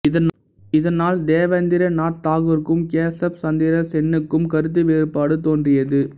இதனால் தேவேந்திர நாத் தாகூருக்கும் கேசப் சந்திர சென்னுக்கும் கருத்து வேறுபாடு தோன்றியது